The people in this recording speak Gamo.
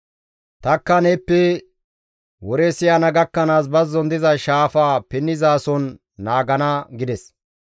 Taikka neeppe wore siyana gakkanaas bazzon diza shaafaa pinnizason naagana» gides.